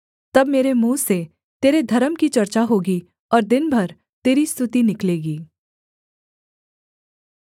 तब मेरे मुँह से तेरे धर्म की चर्चा होगी और दिन भर तेरी स्तुति निकलेगी